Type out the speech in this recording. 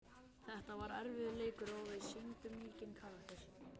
Þetta var erfiður leikur og við sýndum mikinn karakter.